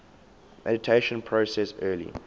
mediation process early